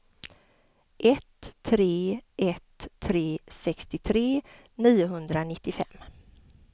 ett tre ett tre sextiotre niohundranittiofem